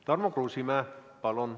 Tarmo Kruusimäe, palun!